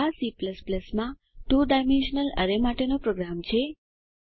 આ C માં 2 dimensional array માટેનો પ્રોગ્રામ છે